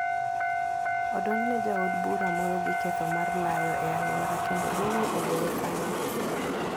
Odonjne jaod bura moro gi ketho mar layo e aluora kendo doho ogoye fain.